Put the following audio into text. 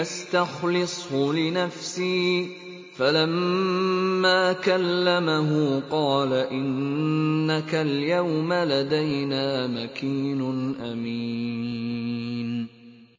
أَسْتَخْلِصْهُ لِنَفْسِي ۖ فَلَمَّا كَلَّمَهُ قَالَ إِنَّكَ الْيَوْمَ لَدَيْنَا مَكِينٌ أَمِينٌ